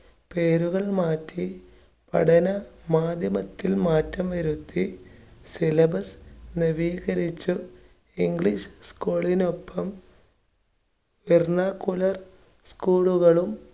പേരുകൾ മാറ്റി പഠന മാധ്യമത്തിൽ മാത്രം ഇരുത്തി syllabus നവീകരിച്ച് english school നൊപ്പം school കളും